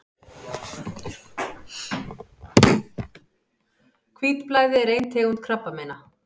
Hvítblæði er ein tegund krabbameina.